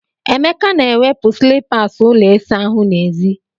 Emeka na-ewepụ slippers ụlọ ịsa ahụ n'èzí.